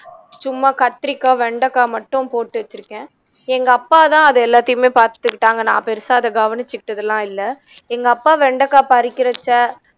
சும்மா கத்திரிக்காய், வெண்டக்காய் மட்டும் போட்டு வச்சிருக்கேன் எங்க அப்பா தான் அது எல்லாத்தையுமே பாத்துக்கிட்டாங்க நா பெருசா அதை கவனிச்சுக்கிட்டதெல்லாம் இல்ல எங்க அப்பா வெண்டைக்காய் பறிக்கிறப்ப